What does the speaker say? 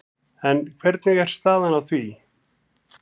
En hvernig er staðan í því?